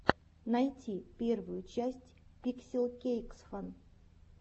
найти первую часть пикселкейксфан